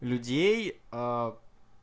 людей аа